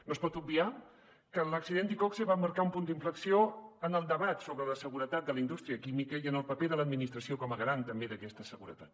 no es pot obviar que l’accident d’iqoxe va marcar un punt d’inflexió en el debat sobre la seguretat de la indústria química i en el paper de l’administració com a garant també d’aquesta seguretat